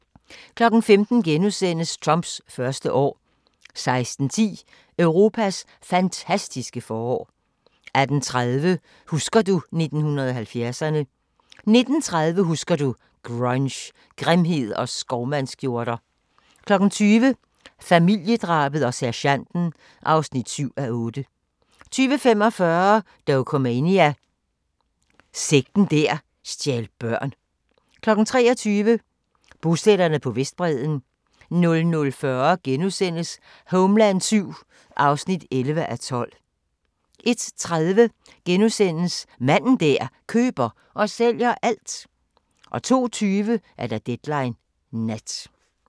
15:00: Trumps første år * 16:10: Europas fantastiske forår 18:30: Husker du 1970'erne ... 19:30: Husker du – Grunge, grimhed og skovmandskjorter 20:00: Familiedrabet og sergenten (7:8) 20:45: Dokumania: Sekten der stjal børn 23:00: Bosætterne på Vestbredden 00:40: Homeland VII (11:12)* 01:30: Manden der køber og sælger alt * 02:20: Deadline Nat